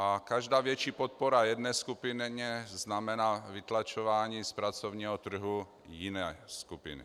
A každá větší podpora jedné skupině znamená vytlačování z pracovního trhu jiné skupiny.